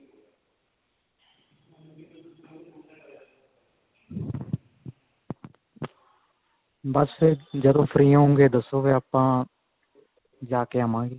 ਬਸ ਫ਼ੇਰ ਜਦੋਂ free ਹੋਵੋਂਗੇ ਦੱਸੋ ਫ਼ੇਰ ਆਪਾਂ ਜਾ ਕੇ ਆਵਾਂਗੇ